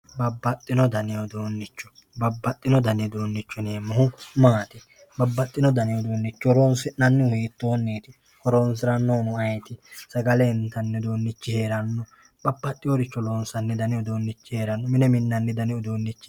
babbaxino dani uduunnicho baaaxino dani uduunnicho yineemmohu maati? babbaxino dani uduunnicho horonsi'nannihu hiittoonniti? horonsirannohuno ayeeti sagale intanni uduunnichi heeranno babbaxinoricho loonsanni dani uduunnichi heeranno mine minnanni uduunnnichi heeranno ...